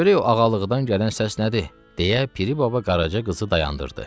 Görək o ağalığıdan gələn səs nədir, deyə Piri baba qaraca qızı dayandırdı.